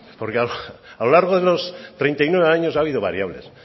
porque a lo largo de los treinta y nueve años ha habido variables